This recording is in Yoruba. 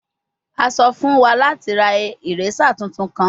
A sọ fun wa lati ra eraser tuntun kan